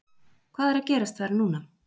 Hvað er að gerast þar núna?